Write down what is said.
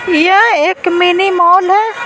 यह एक mini mall है।